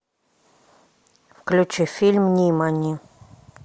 включи фильм нимани